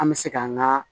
An bɛ se ka an ŋaa